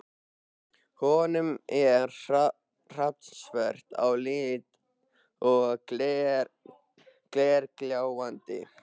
Hún er hrafnsvört á lit og glergljáandi.